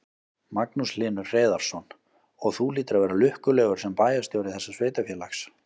Magnús Hlynur Hreiðarsson: Og þú hlýtur að vera lukkulegur sem bæjarstjóri þessa sveitarfélags?